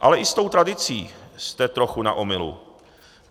Ale i s tou tradicí jste trochu na omylu.